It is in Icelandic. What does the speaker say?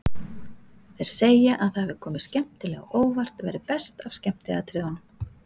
Þeir segja að það hafi komið skemmtilega á óvart, verið best af skemmtiatriðunum.